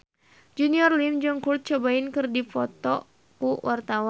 Junior Liem jeung Kurt Cobain keur dipoto ku wartawan